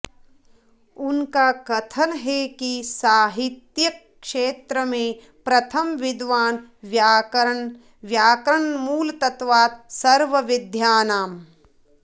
उनका कथन है कि साहित्यिक क्षेत्र में प्रथम विद्वान् वैयाकरण व्याकरणमूलत्वात् सर्वविद्यानाम्